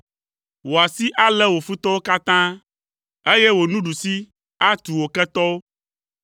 Wò asi alé wò futɔwo katã, eye wò nuɖusi atu wò ketɔwo.